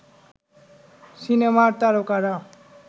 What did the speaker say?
সিনেমার তারকারা